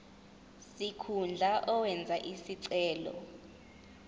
sikhundla owenze isicelo